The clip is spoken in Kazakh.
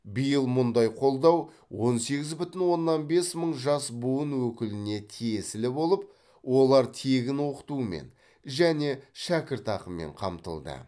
биыл мұндай қолдау он сегіз бүтін оннан бес мың жас буын өкіліне тиесілі болып олар тегін оқытумен және шәкіртақымен қамтылды